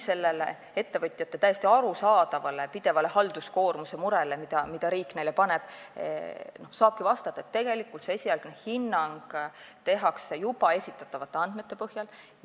Sellele ettevõtjate täiesti arusaadavale murele halduskoormuse pärast, mida riik neile pidevalt peale paneb, saab vastata, et esialgne hinnang tehakse juba esitatavate andmete põhjal.